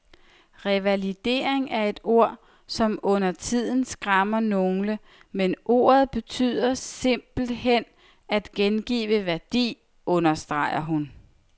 Revalidering er et ord, som undertiden skræmmer nogle, men ordet betyder simpelt hen at gengive værdi, understreger hun.